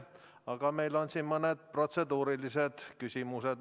Aga meil on siin mõned protseduurilised küsimused.